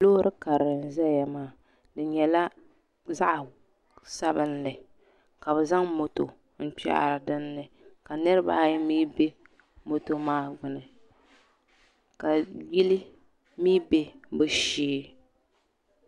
Loori karili n zaya maa di nyɛla zaɣa sabinli ka bi zaŋ moto n kpehiri din ni ka niriba ayi mi bɛ moto maa gbuni ka yili mi bɛ bi shee.